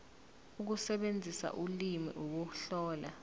ukusebenzisa ulimi ukuhlola